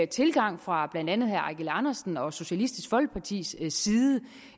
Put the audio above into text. tilgang fra blandt andet herre eigil andersen og socialistisk folkepartis side